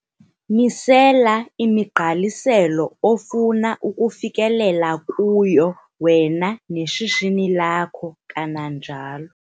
Misela imigqaliselo ofuna ukufikelela kuyo wena neshishini lakho, kananjalo